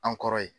An kɔrɔ ye